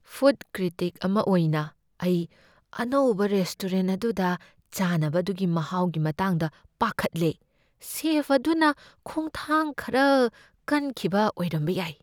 Food critic ꯑꯃ ꯑꯣꯏꯅ, ꯑꯩ ꯑꯅꯧꯕ ꯔꯦꯁꯇꯣꯔꯦꯟꯠ ꯑꯗꯨꯗ ꯆꯥꯅꯕ ꯑꯗꯨꯒꯤ ꯃꯍꯥꯎꯒꯤ ꯃꯇꯥꯡꯗ ꯄꯥꯈꯠꯂꯦ꯫ ꯁꯦꯐ ꯑꯗꯨꯅ ꯈꯣꯡꯊꯥꯡ ꯈꯔ ꯀꯟꯈꯤꯕ ꯑꯣꯏꯔꯝꯕ ꯌꯥꯏ꯫